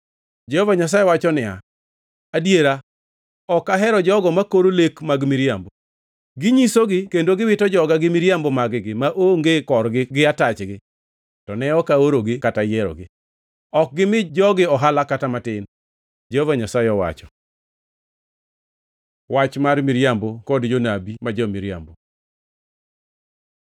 Jehova Nyasaye wacho niya, “Adiera, ok ahero jogo makoro lek mag miriambo. Ginyisogi kendo giwito joga gi miriambo mag-gi maonge korgi gi atachgi, to ne ok aorogi kata yierogi. Ok gimi jogi ohala kata matin,” Jehova Nyasaye owacho. Wach mar miriambo kod jonabi ma jo-miriambo